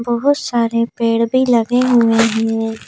बहुत सारे पेड़ भी लगे हुए हैं।